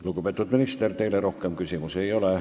Lugupeetud minister, teile rohkem küsimusi ei ole.